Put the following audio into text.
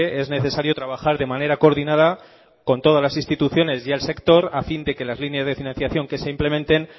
es necesario trabajar de manera coordinada con todas las instituciones y el sector a fin de que las líneas de financiación que se implementen